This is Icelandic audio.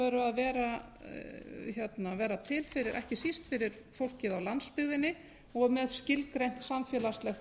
veru að vera til ekki síst fyrir fólkið á landsbyggðinni og með skilgreint samfélagslegt